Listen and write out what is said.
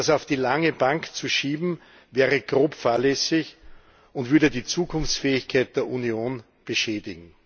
Das auf die lange Bank zu schieben, wäre grob fahrlässig und würde die Zukunftsfähigkeit der Union beschädigen.